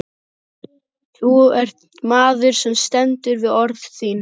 Þú ert maður sem stendur við orð þín.